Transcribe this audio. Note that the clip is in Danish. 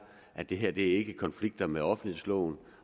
at det her ikke konflikter med offentlighedsloven